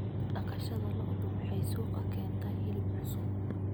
Dhaqashada lo'du waxay suuqa ka keentaa hilib cusub.